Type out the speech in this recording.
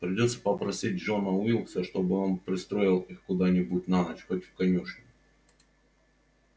придётся попросить джона уилкса чтобы он пристроил их куда-нибудь на ночь хоть в конюшню